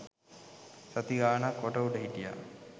සති ගානක් කොට උඩ හිටියා.